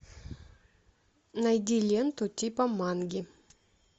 найди ленту типа манги